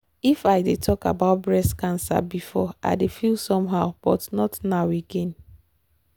if i dey talk about breast cancer before i dey feel somehow but not now again.